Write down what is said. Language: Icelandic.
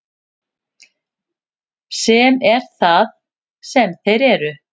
Sem er það sem þeir eru.